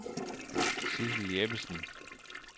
Sidsel Jeppesen